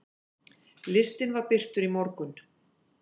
Listinn var birtur í morgun.